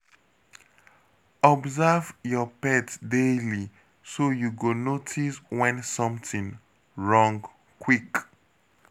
Observe your pet daily, so you go notice when something wrong quick.